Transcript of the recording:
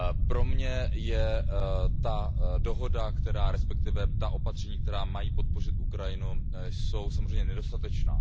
Pro mě je ta dohoda, respektive ta opatření, která mají podpořit Ukrajinu, samozřejmě nedostatečná.